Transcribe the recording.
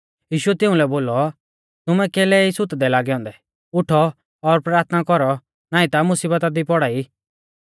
यीशुऐ तिउंलै बोलौ तुमै कैलै ई सुतदै लागै औन्दै उठौ और प्राथना कौरौ नाईं ता मुसीबता ई पौड़ा ई